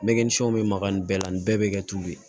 Mɛgɛnsɛnw bɛ makan nin bɛɛ la nin bɛɛ bɛ kɛ tulu ye